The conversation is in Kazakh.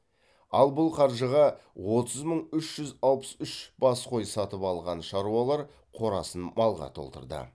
ал бұл қаржыға отыз мың үш жүз алпыс үш бас қой сатып алған шаруалар қорасын малға толтырды